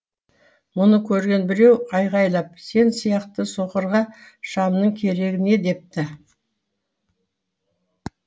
мұны көрген біреу айғайлап сен сияқты соқырға шамның керегі не депті